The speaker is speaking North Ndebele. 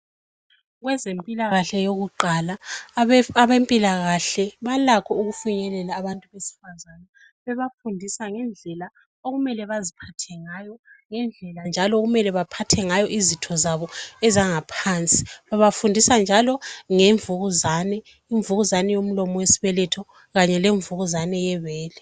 Kwezempilakahle yokuqala abempilakahle balakho ukufinyelela abantu besifazane bebafundisa ngendlela okumele baziphathe ngayo, ngendlela njalo okumele baphathe ngayo izitho zabo ezangaphansi. Babafundisa njalo ngemvukuzane, imvukuzane yomlomo wesibeletho kanye lemvukuzane yebele.